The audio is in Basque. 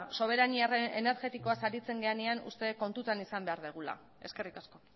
soberania energetikoaz aritzen garenean uste dut kontutan izan behar dugula eskerrik asko